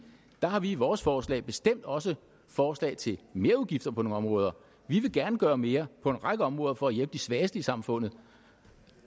har vi i vores forslag bestemt også forslag til merudgifter på nogle områder vi vil gerne gøre mere på en række områder for at hjælpe de svageste i samfundet